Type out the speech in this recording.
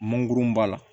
Mɔnkurunba la